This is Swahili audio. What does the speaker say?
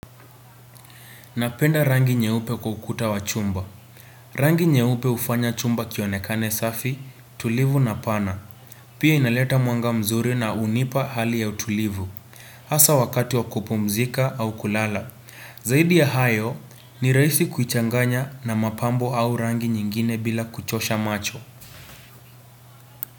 Napenda rangi nyeupe kwa ukuta wa chumba. Mmchhh Rangi nyeupe ufanya chumba kionekane safi, tulivu na pana. Mchh Pia inaleta mwanga mzuri na unipa hali ya utulivu.mchh Asa wakati wa kupumzika au kulala. Zaidi ya hayo ni raisi kuchanganya na mapambo au rangi nyingine bila kuchosha macho.